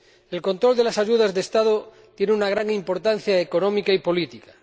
El control de las ayudas de Estado tiene una gran importancia económica y política.